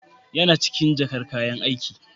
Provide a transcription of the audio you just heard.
Yana cikin jakar Kayan aiki.